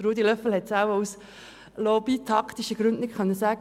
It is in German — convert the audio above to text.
Ruedi Löffel konnte das wahrscheinlich aus lobby-taktischen Gründen nicht sagen.